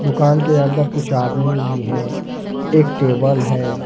दुकान के अंदर कुछ आदमी भी हैं एक टेबल है।